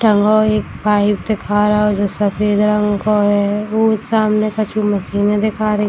टंगा हुआ एक पाइप दिखा रहा है जो सफ़ेद रंग का है वो सामने कछु मशीने दिखा रही --